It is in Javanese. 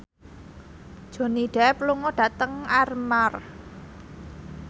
Johnny Depp lunga dhateng Armargh